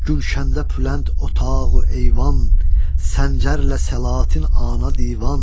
Gülşəndə pülənd otağu eyvan, Səncərlə səlatin ana divan.